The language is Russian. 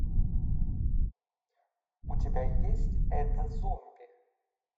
у тебя есть это зомби